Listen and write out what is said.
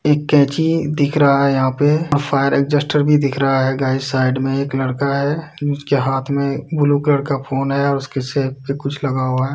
एक कैंची दिख रहा है यहाँ पे और फायर एक्सीस्टर भी दिख रहा है गाइस साइड में एक लड़का है उसके हाथ में एक ब्लू कलर का फ़ोन है। उसके सर पे कुछ लगा हुआ है।